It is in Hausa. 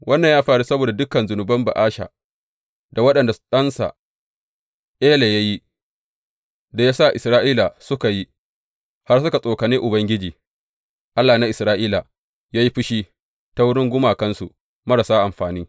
Wannan ya faru saboda dukan zunuban Ba’asha da waɗanda ɗansa Ela ya yi, da ya sa Isra’ila suka yi, har suka tsokane Ubangiji, Allah na Isra’ila, yă yi fushi ta wurin gumakansu marasa amfani.